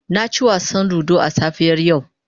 Na ci wasan ludo a safiyar yau.